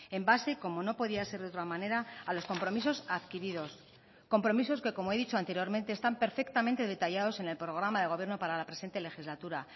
en base como no podía ser de otra manera a los compromisos adquiridos compromisos que como he dicho anteriormente están perfectamente detallados en el programa de gobierno para la presente legislatura